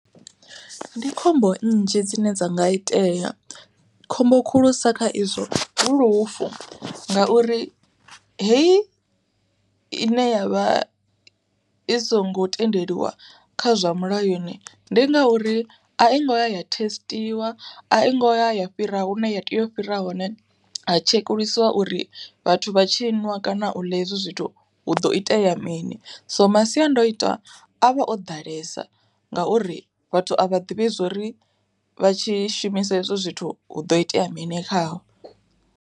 Ndi khombo nnzhi dzine dza nga itea, khombo khulusa kha izwo hu lufu. Ngauri heyi ine yavha, i songo tendeliwa kha zwa mulayoni, ndi ngauri a i ngoya ya thesitiwa a i ngoya ya fhira hu ne ya tea u fhira hone ha tshekulusiwa uri vhathu vha tshi ṅwa kana u ḽa ezwi zwithu hu do itea mini. So masiandoitwa a vha o ḓalesa, ngauri vhathu a vha ḓivhi zwori vha tshi shumisa ezwo zwithu hu ḓo itea mini khavho.